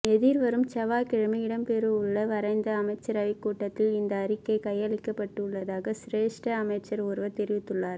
எதிர்வரும் செவ்வாய்க்கிழமை இடம்பெறவுள்ள வாராந்த அமைச்சரவைக் கூட்டத்தில் இந்த அறிக்கை கையளிக்கப்பட உள்ளதாக சிரேஷ்ட அமைச்சர் ஒருவர் தெரிவித்துள்ளார்